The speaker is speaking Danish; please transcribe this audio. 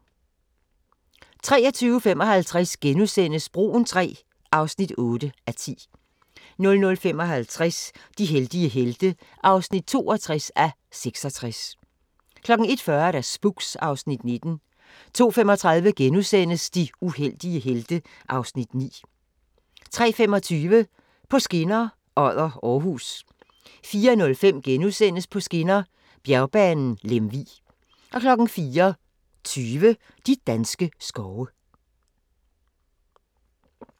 23:55: Broen III (8:10)* 00:55: De heldige helte (62:66) 01:40: Spooks (Afs. 19) 02:35: De uheldige helte (Afs. 9)* 03:25: På skinner: Odder – Aarhus 04:05: På skinner: Bjergbanen Lemvig * 04:20: De danske skove